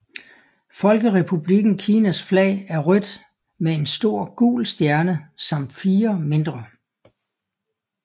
Folkerepublikken Kinas flag er rødt med en stor gul stjerne samt fire mindre